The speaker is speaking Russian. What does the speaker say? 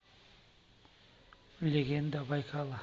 легенда байкала